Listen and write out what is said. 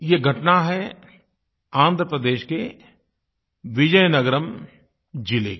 ये घटना है आन्ध्र प्रदेश के विजयनगरम ज़िले की